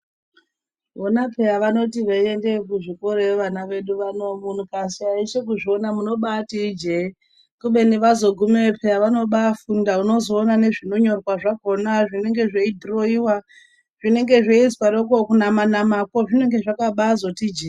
Vona pheya vanoti veindayo kuzvikorayo vana vedu vano, mukashaisha kuzviona munoti pheya ijeye kubeni vazogumeyo vanobafunda pheya, unozobaona nezvinofundwa zvakhona, zvinenge zveidhiroyiwa zvinenge zveizwaroko kunama namako zvinenge zvakati jeee